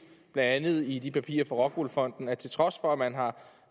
blandt andet i de papirer fra rockwool fonden at til trods for at man har